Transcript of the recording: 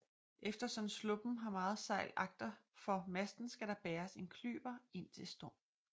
Eftersom sluppen har meget sejl agtenfor masten skal der bæres en klyver indtil storm